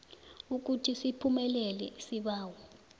ukuthi siphumelele isibawo